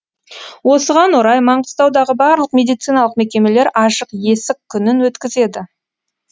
осыған орай маңғыстаудағы барлық медициналық мекемелер ашық есік күнін өткізеді